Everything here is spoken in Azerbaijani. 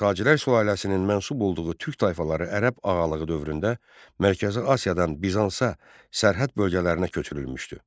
Sacilər sülaləsinin mənsub olduğu türk tayfaları Ərəb ağalığı dövründə Mərkəzi Asiyadan Bizansa, sərhəd bölgələrinə köçürülmüşdü.